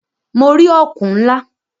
Mo rí ọ̀kùn ńlá.